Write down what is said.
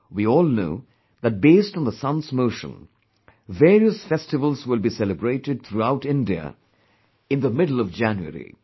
We all know, that based on the sun's motion, various festivals will be celebrated throughout India in the middle of January